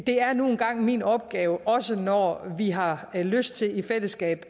det er nu engang min opgave også når vi har lyst til i fællesskab